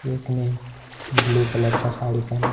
एक ने blue colour का साड़ी पहना--